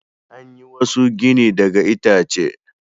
An yi wasu gini daga itace.